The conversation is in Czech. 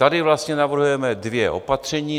Tady vlastně navrhujeme dvě opatření.